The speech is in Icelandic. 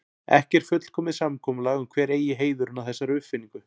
Ekki er fullkomið samkomulag um hver eigi heiðurinn að þessari uppfinningu.